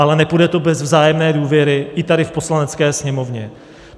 Ale nepůjde to bez vzájemné důvěry, i tady v Poslanecké sněmovně.